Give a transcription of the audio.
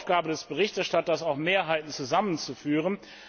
Es ist die Aufgabe des Berichterstatters, auch Mehrheiten zusammenzuführen.